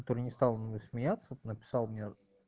который не стал надо мной смеяться написал мне